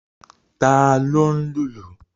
Ta ló ń lùlù?